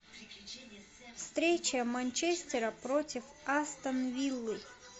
встреча манчестера против астон виллы